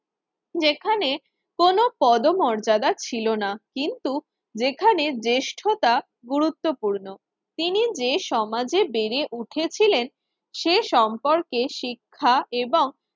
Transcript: যেখানে কোন পদমর্যাদা ছিল না। কিন্তু যেখানে জ্যেষ্ঠতা গুরুত্বপূর্ণ তিনি যে সমাজে বেড়ে উঠেছিলেন সে সম্পর্কে শিক্ষা এবং